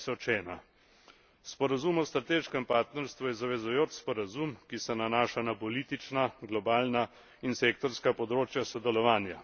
2001. Sporazum o strateškem partnerstvu je zavezujoč sporazum, ki se nanaša na politična, globalna in sektorska področja sodelovanja.